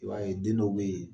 I b'a ye den dɔw bɛ yen